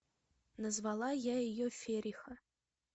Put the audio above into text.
назвала я ее фериха